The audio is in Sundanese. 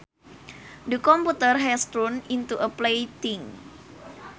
The computer has turned into a plaything